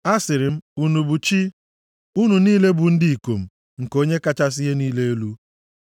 “Asịrị m, ‘Unu bụ “chi,” unu niile bụ ụmụ ndị ikom nke Onye kachasị ihe niile elu.’